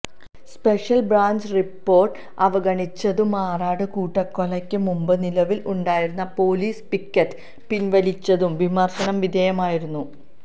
special branch report അവഗണിച്ചതും മാറാട് കൂട്ടക്കൊലക്ക് മുമ്പ് നിലവിൽ ഉണ്ടായിരുന്ന പൊലീസ് പിക്കറ്റ് പിൻവലിച്ചതും വിമർശന വിധേയമായിരുന്നു